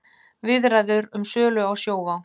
Viðræður um sölu á Sjóvá